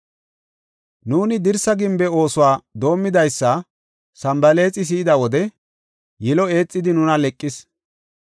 Nuuni dirsa gimbe oosuwa doomidaysa Sanbalaaxi si7ida wode yilo eexidi nuna leqis.